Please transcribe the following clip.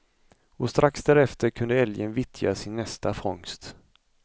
Och strax därefter kunde älgen vittja sin nästa fångst.